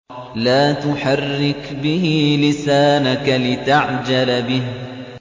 لَا تُحَرِّكْ بِهِ لِسَانَكَ لِتَعْجَلَ بِهِ